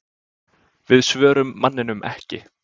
Við svörum manninum ekki.